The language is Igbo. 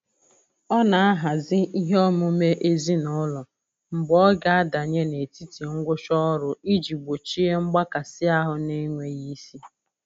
Ọ na-ahazi ihe omume ezinụlọ mgbe ọ ga adanye n'etiti ngwụcha ọrụ iji gbochie mgbakasịahụ n'enweghị isi.